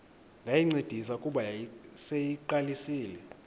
ndayincedisa kuba yayiseyiqalisile